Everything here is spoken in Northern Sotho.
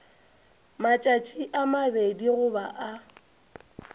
matšatši a mabedi goba a